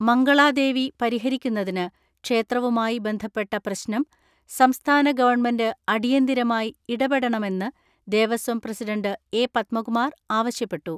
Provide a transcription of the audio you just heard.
മംഗളാ ദേവീ ക്ഷേത്രവുമായി ബന്ധപ്പെട്ട പ്രശ്നം പരിഹരിക്കുന്നതിന്, സംസ്ഥാന ഗവൺമെന്റ് അടിയന്തിരമായി ഇടപെടണമെന്ന് ദേവസ്വം പ്രസിഡൻറ്റ്‌ എ.പത്മകുമാർ ആവശ്യപ്പെട്ടു.